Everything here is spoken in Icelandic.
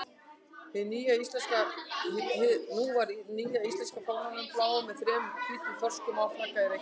Nú var nýja íslenska fánanum, bláum með þremur hvítum þorskum á, flaggað í Reykjavík.